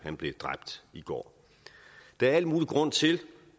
blev dræbt i går der er al mulig grund til